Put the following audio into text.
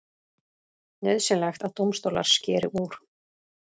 Nauðsynlegt að dómstólar skeri úr